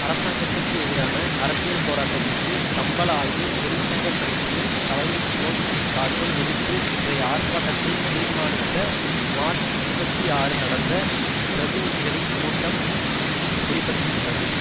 அரசாங்கத்திற்கு எதிரான அரசியல் போராட்டத்திற்கு சம்பள ஆய்வு தொழிற்சங்க கமிட்டியின் தலைமைத்துவம் காட்டும் எதிர்ப்பு இன்றைய ஆர்ப்பாட்டத்தை தீர்மானித்த மார்ச் இருபத்தி ஆறு நடந்த பிரதிநிதிகளின் கூட்டம் வெளி படுத்தியுள்ளது